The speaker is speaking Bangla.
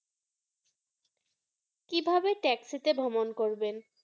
কিভাবে taxi তে ভ্রমণ করবেন